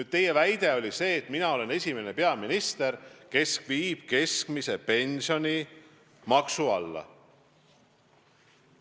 Üks teie väide oli see, et mina olen esimene peaminister, kes on keskmise pensioni maksu alla viinud.